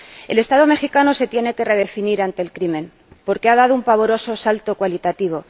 El Estado mexicano se tiene que redefinir ante el crimen porque ha dado un pavoroso salto cualitativo.